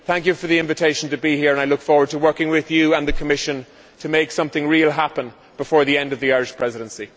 Thank you for the invitation to be here and I look forward to working with you and the Commission to make something real happen before the end of the Irish Presidency.